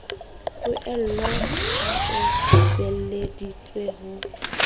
poello ha o beeleditse ho